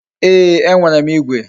Ee, e nwere m igwe